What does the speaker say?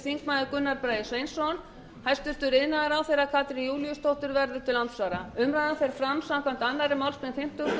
þingmenn gunnar bragi sveinsson hæstvirtur iðnaðarráðherra katrín júlíusdóttir verður til andsvara umræðan fer fram samkvæmt annarri málsgrein fimmtugustu grein